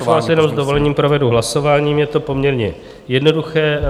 Já už vás jenom s dovolením provedu hlasováním, je to poměrně jednoduché.